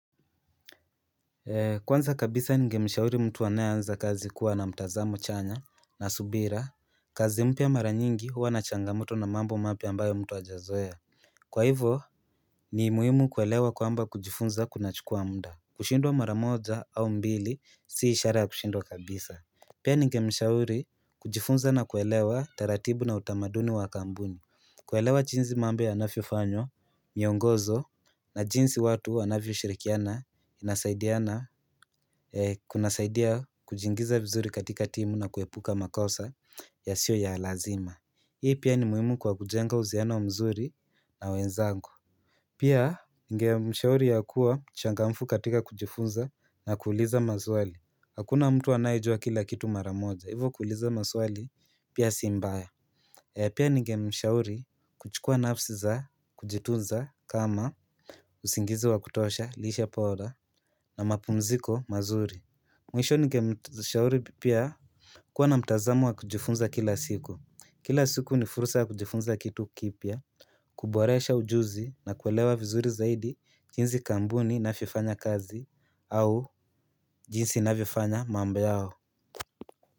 Kwanza kabisa ningemshauri mtu anayeanza kazi kuwa na mtazamo chanya na subira kazi mpya mara nyingi huwa na changamoto na mambo mapya ambayo mtu hajazoea Kwa hivyo ni muhimu kuelewa kwamba kujifunza kuna chukua muda kushindwa mara moja au mbili si ishara ya kushindwa kabisa Pia ningemshauri kujifunza na kuelewa taratibu na utamaduni wa kampuni kuelewa jinsi mambo yanavyofanywa, miongozo na jinsi watu wanavyo shirikiana inasaidiana kunasaidia kujingiza mzuri katika timu na kuepuka makosa yasiyo ya lazima Hii pia ni muhimu kwa kujenga uhusiano mzuri na wenzangu Pia ningemshauri ya kuwa mchangamfu katika kujifunza na kuuliza mazwali Hakuna mtu anayejua kila kitu mara moja, hivo kuuliza mazwali pia si mbaya Pia ningemshauri kuchukua nafsi za kujitunza kama usingizi wa kutosha, lishe bora na mapumziko mazuri mwisho ningemshauri pia kuwa na mtazamo wa kujifunza kila siku kila siku ni fursa kujifunza kitu kipya kuboresha ujuzi nakuelewa vizuri zaidi jinsi kampuni inavyofanya kazi au jinsi inavyofanya mambo yao.